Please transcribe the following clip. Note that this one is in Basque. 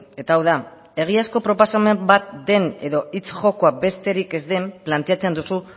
eta hau da egiazko proposamen bat den edo hitz jokoa besterik ez den planteatzen duzu